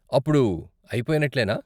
అప్పుడు అయిపొయినట్లేనా?